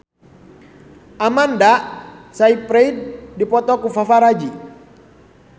Amanda Sayfried dipoto ku paparazi